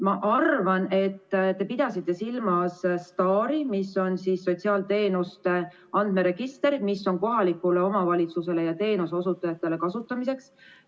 Ma arvan, et te pidasite silmas STAR-i, mis on sotsiaalteenuste andmeregister, mis on kohalikule omavalitsusele ja teenuseosutajatele kasutamiseks.